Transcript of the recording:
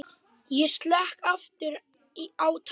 Ég slekk aftur á tækinu.